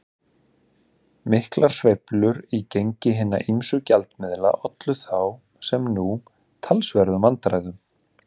Miklar sveiflur í gengi hinna ýmsu gjaldmiðla ollu þá, sem nú, talsverðum vandræðum.